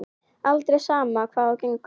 Aldrei, sama hvað á gengur.